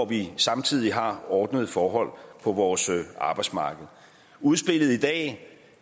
vi samtidig har ordnede forhold på vores arbejdsmarked udspillet i dag